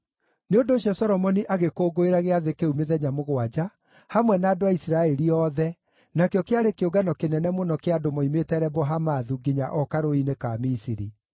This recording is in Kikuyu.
Nĩ ũndũ ũcio Solomoni agĩkũngũĩra gĩathĩ kĩu mĩthenya mũgwanja, hamwe na andũ a Isiraeli othe, nakĩo kĩarĩ kĩũngano kĩnene mũno kĩa andũ moimĩte Lebo-Hamathu nginya o Karũũĩ-inĩ ka Misiri.